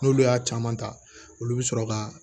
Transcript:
N'olu y'a caman ta olu bɛ sɔrɔ ka